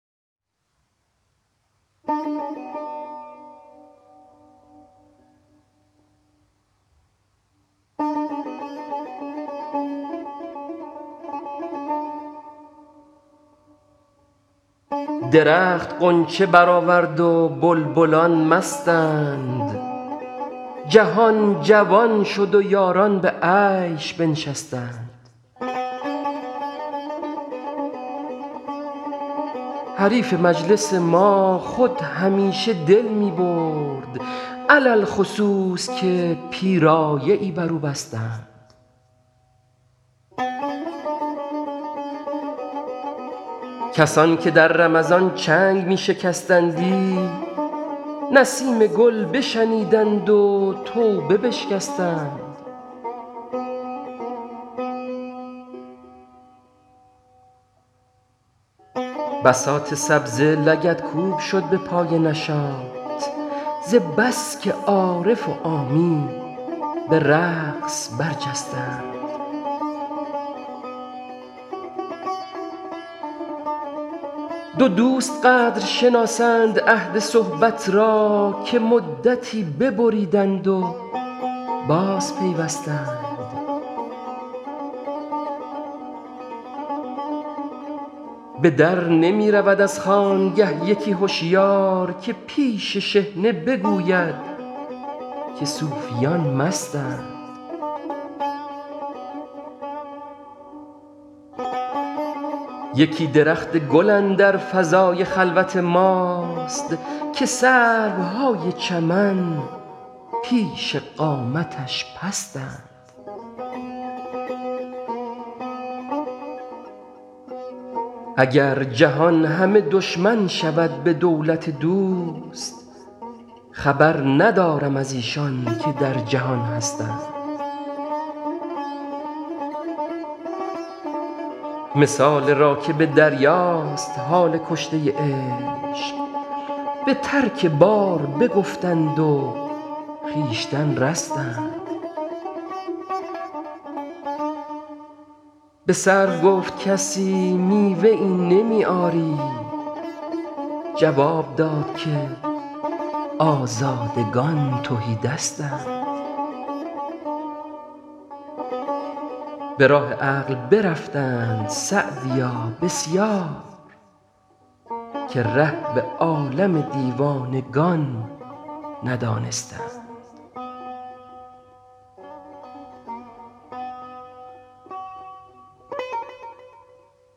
درخت غنچه برآورد و بلبلان مستند جهان جوان شد و یاران به عیش بنشستند حریف مجلس ما خود همیشه دل می برد علی الخصوص که پیرایه ای بر او بستند کسان که در رمضان چنگ می شکستندی نسیم گل بشنیدند و توبه بشکستند بساط سبزه لگدکوب شد به پای نشاط ز بس که عارف و عامی به رقص برجستند دو دوست قدر شناسند عهد صحبت را که مدتی ببریدند و بازپیوستند به در نمی رود از خانگه یکی هشیار که پیش شحنه بگوید که صوفیان مستند یکی درخت گل اندر فضای خلوت ماست که سروهای چمن پیش قامتش پستند اگر جهان همه دشمن شود به دولت دوست خبر ندارم از ایشان که در جهان هستند مثال راکب دریاست حال کشته عشق به ترک بار بگفتند و خویشتن رستند به سرو گفت کسی میوه ای نمی آری جواب داد که آزادگان تهی دستند به راه عقل برفتند سعدیا بسیار که ره به عالم دیوانگان ندانستند